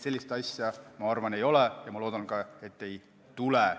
Sellist asja, ma arvan, ei ole, ja ma loodan ka, et ei tule.